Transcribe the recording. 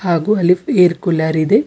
ಹಾಗು ಅಲ್ಲಿ air cooler ಇದೆ.